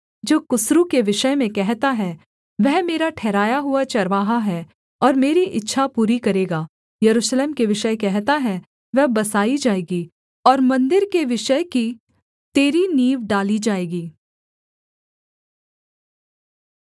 जो कुस्रू के विषय में कहता है वह मेरा ठहराया हुआ चरवाहा है और मेरी इच्छा पूरी करेगा यरूशलेम के विषय कहता है वह बसाई जाएगी और मन्दिर के विषय कि तेरी नींव डाली जाएगी